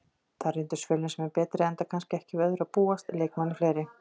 Þar reyndust Fjölnismenn betri enda kannski ekki við öðru að búast, leikmanni fleiri.